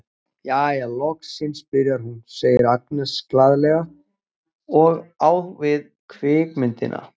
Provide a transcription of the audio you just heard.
Jæja, loksins byrjar hún, segir Agnes glaðlega og á við kvikmyndina.